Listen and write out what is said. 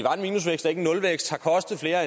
er